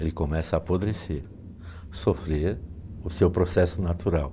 Ele começa a apodrecer, sofrer o seu processo natural.